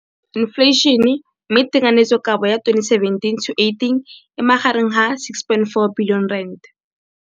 Infleišene, mme tekanyetsokabo ya 2017, 18, e magareng ga R6.4 bilione.